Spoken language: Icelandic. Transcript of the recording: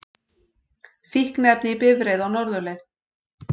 Fíkniefni í bifreið á norðurleið